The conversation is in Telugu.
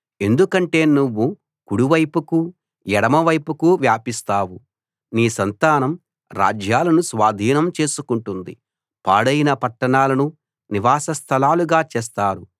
ఎందుకంటే నువ్వు కుడివైపుకూ ఎడమవైపుకూ వ్యాపిస్తావు నీ సంతానం రాజ్యాలను స్వాధీనం చేసుకుంటుంది పాడైన పట్టణాలను నివాస స్థలాలుగా చేస్తారు